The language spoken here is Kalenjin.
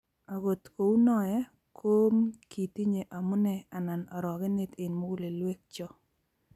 akot kou noee, komkitinye omunee anan orogenee eng mugulelwekcho